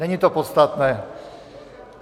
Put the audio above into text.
Není to podstatné.